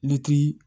Ni ki